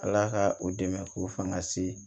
Ala ka u dɛmɛ k'u fanga se